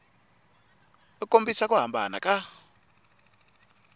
u kombisa ku hambana ka